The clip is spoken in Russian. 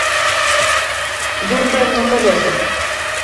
дурдом на колесах